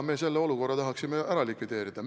Me selle olukorra tahaksime likvideerida.